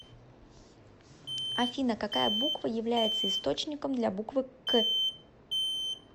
афина какая буква является источником для буквы к